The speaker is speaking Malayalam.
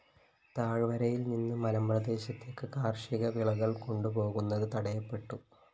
താഴ്‌വരയില്‍ നിന്ന് മലമ്പ്രദേശത്തേക്ക് കാര്‍ഷിക വിളകള്‍ കൊണ്ടുപോകുന്നത് തടയപ്പെട്ടു